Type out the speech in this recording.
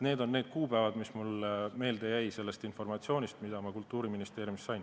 Need on need kuupäevad, mis mulle meelde jäid sellest informatsioonist, mida ma Kultuuriministeeriumist sain.